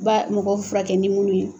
mɔgɔ furakɛ ni mun ye